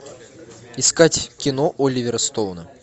искать кино оливера стоуна